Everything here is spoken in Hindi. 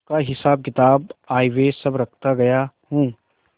उसका हिसाबकिताब आयव्यय सब रखता गया हूँ